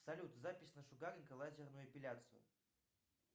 салют запись на шугаринг и лазерную эпиляцию